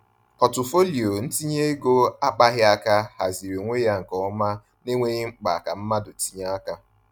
Pọtụfoliyo ntinye ego akpaghị aka haziri onwe ya nke ọma n’enweghị mkpa ka mmadụ tinye aka.